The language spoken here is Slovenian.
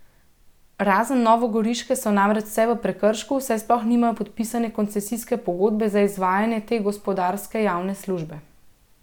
Razen novogoriške so namreč vse v prekršku, saj sploh nimajo podpisane koncesijske pogodbe za izvajanje te gospodarske javne službe.